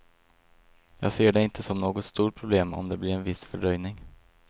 Jag ser det inte som något stort problem om det blir en viss fördröjning.